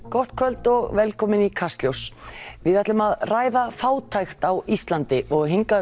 gott kvöld og velkomin í Kastljós við ætlum að ræða fátækt á Íslandi og hingað